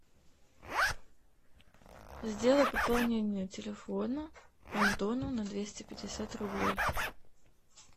сделай пополнение телефона антону на двести пятьдесят рублей